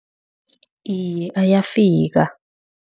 Iye, ayafika.